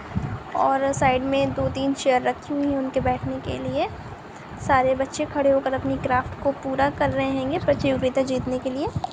और अ साइड में दो-तीन चेयर रखी हुई है उनके बेठने के लिए सारे बच्चे खड़े होकर अपनी क्राफ्ट को पूरा कर रहे हेंगे प्रतियोगिता जीतने के लिए।